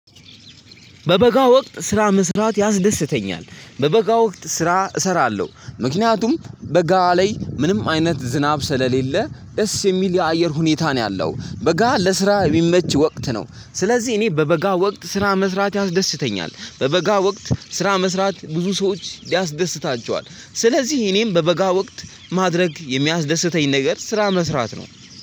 በበጋ ወቅት ስራ መስራት ያስደስተኛል በበጋ ወቅት ስራ እሰራለሁ ምክንያቱም በጋ ላይ ምንም አይነት ዝናብ ስለሌለ ደስ የሚል የአየር ሁኔታ ነው ያለው በጋ ለስራ እሚመች ወቅት ነው። ስለዚህ እኔ በበጋ ወቅት ስራ መስራት ያስደስተኛል በበጋ ወቅት ስራ መስራት ብዙ ሰዎች ያስደስታቸዋል ስለዚህ እኔም በበጋ ወቅት ማድረግ የሚያስደስተኝ ነገር ስራ መስራት ነው።